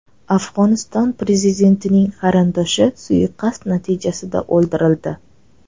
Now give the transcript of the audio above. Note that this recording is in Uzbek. Afg‘oniston prezidentining qarindoshi suiqasd natijasida o‘ldirildi.